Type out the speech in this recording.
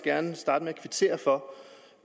gerne starte med at kvittere for